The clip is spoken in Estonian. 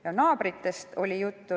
Ka naabritest oli juttu.